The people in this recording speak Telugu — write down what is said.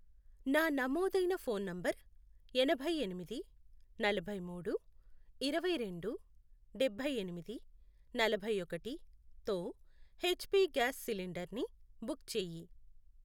నా నమోదైన ఫోన్ నంబర్ ఎనభై ఎనిమిది, నలభై మూడు, ఇరవై రెండు, డబ్బై ఎనిమిది, నలభై ఒకటి, తో ఎచ్ పి గ్యాస్ సిలిండర్ని బుక్ చేయి.